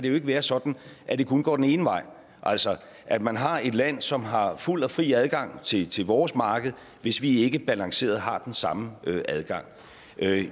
ikke være sådan at det kun går den ene vej altså at man har et land som har fuld og fri adgang til til vores marked hvis vi ikke balanceret har den samme adgang